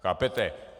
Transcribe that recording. Chápete?